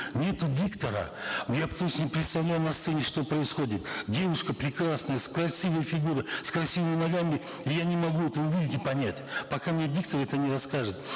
нету диктора я потому что не представляю на сцене что происходит девушка прекрасная с красивой фигурой с красивыми ногами и я не могу это увидеть и понять пока мне диктор это не расскажет